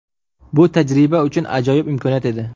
Bu tajriba uchun ajoyib imkoniyat edi.